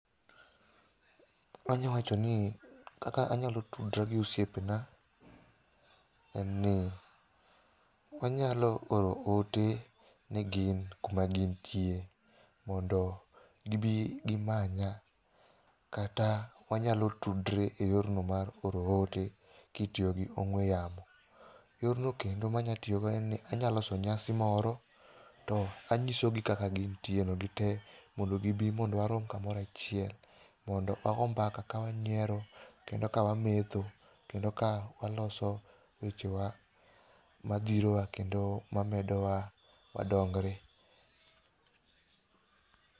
Anyawacho ni kaka anyalo tudra gi osiepena, enni, wanyalo oro ote ne gin kuma gintie, mondo gibii gimanya, kata wanyalo tudre e yorno mar oro ote kitiogi ong'we yamo. Yorno kendo manyatio go enni anya loso nyasi moro, to anyisogi kaka gintieno gitee mondo gibii mondo warom kamorachiel, mondo wagoo mbaka ka wanyiero, kendo ka wametho, kendo ka waloso wechewa madhirowa kendo medowa wadongre.